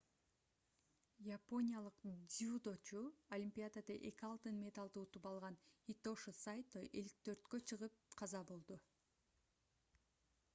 япониялык дзюдочу олимпиадада 2 алтын медалды утуп алган хитоши сайто 54 чыгып каза болду